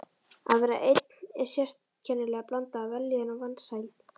Að vera einn er sérkennileg blanda af vellíðan og vansæld.